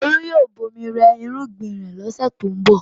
Olú yóò bomi rẹ irúgbìn rẹ̀ lọ́sẹ̀ tó ń bọ̀.